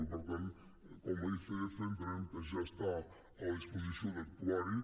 i per tant com a icf entenem que ja està a la disposició d’actuar hi